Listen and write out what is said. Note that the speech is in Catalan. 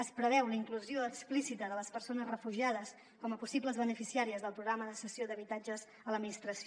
es preveu la inclusió explícita de les persones refugiades com a possibles beneficiàries del programa de cessió d’habitatges a l’administració